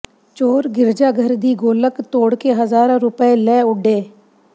ਚੋਰ ਗਿਰਜਾ ਘਰ ਦੀ ਗੋਲਕ ਤੋੜ ਕੇ ਹਜ਼ਾਰਾਂ ਰੁਪਏ ਲੈ ਉੱਡੇ